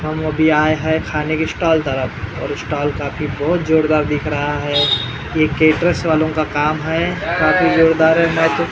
हम अभी आये हैं खाने के स्टॉल तरफ और स्टॉल काफी बहुत जोरदार दिख रहा है ये केटर्स वालो का काम है काफी जोरदार मैं तो --